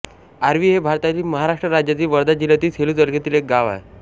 RV हे भारतातील महाराष्ट्र राज्यातील वर्धा जिल्ह्यातील सेलू तालुक्यातील एक गाव आहे